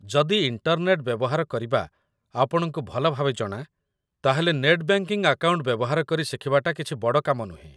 ଯଦି ଇଣ୍ଟର୍ନେଟ ବ୍ୟବହାର କରିବା ଆପଣଙ୍କୁ ଭଲ ଭାବେ ଜଣା, ତା'ହେଲେ ନେଟ୍ ବ୍ୟାଙ୍କିଙ୍ଗ ଆକାଉଣ୍ଟ ବ୍ୟବହାର କରି ଶିଖିବାଟା କିଛି ବଡ଼ କାମ ନୁହେଁ